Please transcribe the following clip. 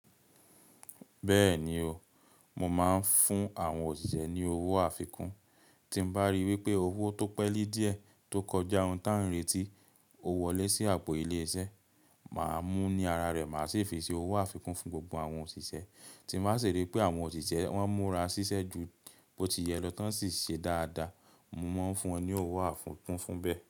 Bẹ́ẹ̀ni o, mo máa ń fún àwọn òṣìṣẹ́ ní owó àfikún. Tí mo bá rí wípé owó tó pẹ́li díẹ̀ tó kọjá ohun tí à ń retí, ó wọlé sí àpò ilé iṣẹ́, màá mú ní ara rẹ̀, màá sì fi ṣe owó àfikún fún gbogbo àwọn òṣìṣẹ́. Tí mo bá sì rí pé àwọn òṣìṣẹ́ wọ́n múra ṣiṣẹ́ ju bó ti yẹ lọ tán sì ṣe dáadáa, mo máa ń fún wọn ní owó àfikún fún bẹ́ẹ̀.